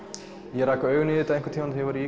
ég rak augun í þetta einhvern tímann þegar ég